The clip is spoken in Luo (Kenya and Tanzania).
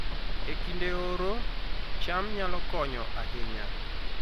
E kinde oro, cham nyalo konyo ahinya